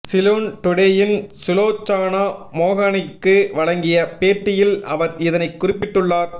சிலோன் டுடேயின் சுலோச்சனா மோகனிற்கு வழங்கிய பேட்டியில் அவர் இதனை குறிப்பிட்டுள்ளார்